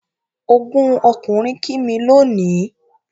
Ọgún ọkùnrin kí mí lónìí